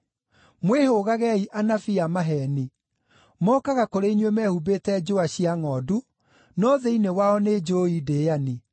“Mwĩhũgagei anabii a maheeni. Mokaga kũrĩ inyuĩ mehumbĩte njũa cia ngʼondu, no thĩinĩ wao nĩ njũũi ndĩani.